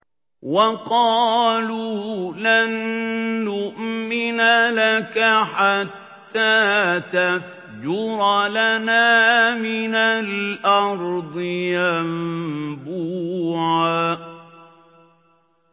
وَقَالُوا لَن نُّؤْمِنَ لَكَ حَتَّىٰ تَفْجُرَ لَنَا مِنَ الْأَرْضِ يَنبُوعًا